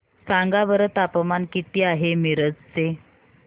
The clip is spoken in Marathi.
सांगा बरं तापमान किती आहे मिरज चे